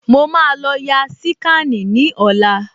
Mo máa lọ ya síkànì ní ọ̀la